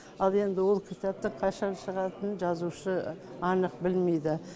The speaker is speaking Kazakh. ал енді ол кітаптың қашан шығатынын жазушы анық білмейді